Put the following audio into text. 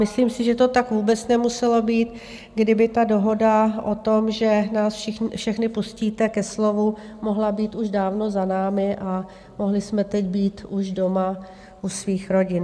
Myslím si, že to tak vůbec nemuselo být, kdyby ta dohoda o tom, že nás všechny pustíte ke slovu, mohla být už dávno za námi a mohli jsme teď být už doma u svých rodin.